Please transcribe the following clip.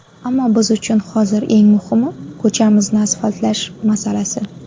Ammo biz uchun hozir eng muhimi, ko‘chamizni asfaltlash masalasi.